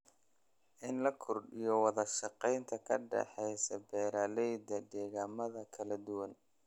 In la kordhiyo wada shaqaynta ka dhaxaysa beeralayda deegaamada kala duwan.